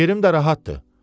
yerim də rahatdır.